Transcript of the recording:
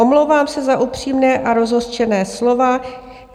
Omlouvám se za upřímná a rozhořčená slova.